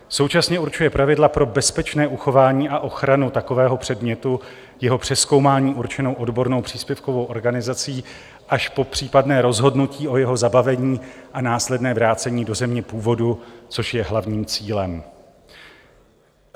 Současně určuje pravidla pro bezpečné uchování a ochranu takového předmětu, jeho přezkoumání určenou odbornou příspěvkovou organizací až po případné rozhodnutí o jeho zabavení a následné vrácení do země původu, což je hlavním cílem.